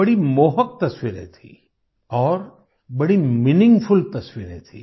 बड़ी मोहक तस्वीरें थी और बड़ी मीनिंगफुल तस्वीरें थी